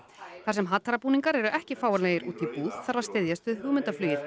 þar sem eru ekki fáanlegir úti í búð þarf að styðjast við hugmyndaflugið